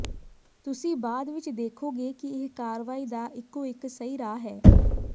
ਤੁਸੀਂ ਬਾਅਦ ਵਿਚ ਦੇਖੋਗੇ ਕਿ ਇਹ ਕਾਰਵਾਈ ਦਾ ਇੱਕੋ ਇੱਕ ਸਹੀ ਰਾਹ ਹੈ